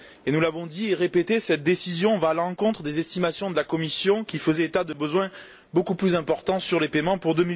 Nous l'avons dit et répété cette décision va à l'encontre des estimations de la Commission, qui faisaient état de besoins beaucoup plus importants sur les paiements pour